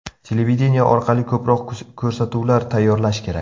Televideniye orqali ko‘proq ko‘rsatuvlar tayyorlash kerak.